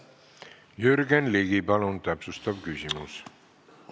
Jürgen Ligi, palun täpsustav küsimus!